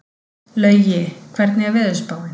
Laugi, hvernig er veðurspáin?